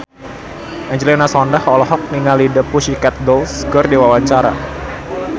Angelina Sondakh olohok ningali The Pussycat Dolls keur diwawancara